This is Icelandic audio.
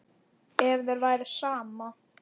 Ef þér væri sama.